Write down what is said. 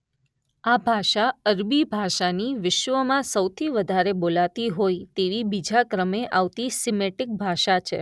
આ ભાષા અરબી ભાષાની વિશ્વમાં સૌથી વધારે બોલાતી હોય તેવી બીજા ક્રમે આવતી સિમેટિક ભાષા છે.